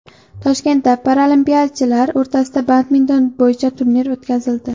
Toshkentda paralimpiyachilar o‘rtasida badminton bo‘yicha turnir o‘tkazildi.